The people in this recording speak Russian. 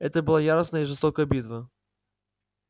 это была яростная и жестокая битва